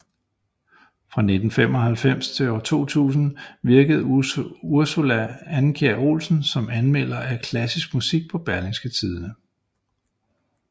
Fra 1995 til 2000 virkede Ursula Andkjær Olsen som anmelder af klassisk musik på Berlingske Tidende